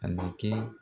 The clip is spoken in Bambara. A ma kɛ